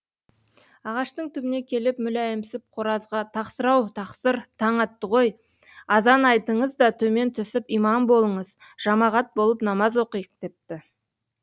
ағаштың түбіне келіп мүләйімсіп қоразға тақсыр ау тақсыр таң атты ғой азан айтыңыз да төмен түсіп имам болыңыз жамағат болып намаз оқиық депті